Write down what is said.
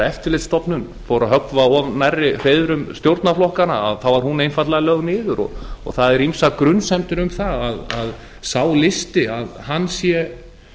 eftirlitsstofnun fór að höggva of nærri hreiðrum stjórnarflokkanna þá var hún einfaldlega lögð niður og það eru ýmsar grunsemdir um það að sá listi sé